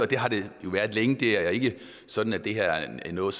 det har det været længe det er ikke sådan at det her er noget